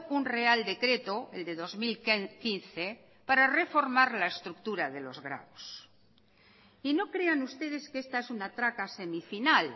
un real decreto el de dos mil quince para reformar la estructura de los grados y no crean ustedes que esta es una traca semifinal